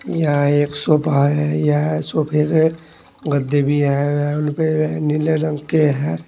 यह एक सोफा है यह सोफे के गद्दे भी हैं व उन पे वह नीले रंग के हैं।